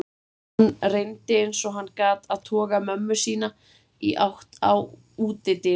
Hann reyndi eins og hann gat að toga mömmu sína í átt á útidyrunum.